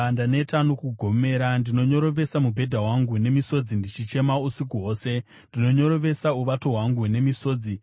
Ndaneta nokugomera; ndinonyorovesa mubhedha wangu nemisodzi ndichichema usiku hwose, ndinonyorovesa uvato hwangu nemisodzi.